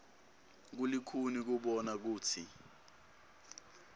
kulikhuni kubona kutsi